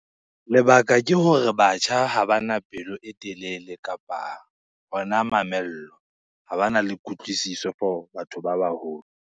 Lebaka ke hore batjha ha bana pelo e telele kapa hona mamello. Ha bana le kutlwisiso for batho ba baholo.